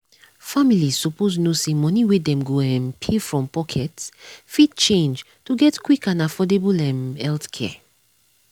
families suppose know say money wey dem go um pay from pocket fit change to get quick and affordable um healthcare.